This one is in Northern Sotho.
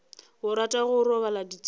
o rata go roba ditshepišo